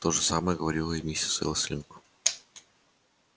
то же самое говорила и миссис элсинг